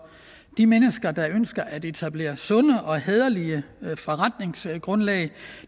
de mennesker der ønsker at etablere sunde og hæderlige forretningsgrundlag